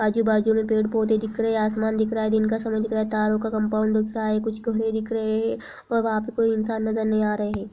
आजू बाजू मे पेड़ पोधे दिख रहे है। आसमान दिख रहा है। दिन का समय दिख रहा है| तारों का कंपाउंड दिख रहा है। कुछ गमले दिख रहे है और वहां पे कोई इंसान नजर नहीं आ रहे है।